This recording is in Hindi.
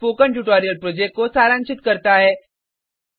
यह स्पोकन ट्यूटोरियल प्रोजेक्ट को सारांशित करता है